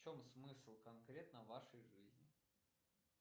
в чем смысл конкретно вашей жизни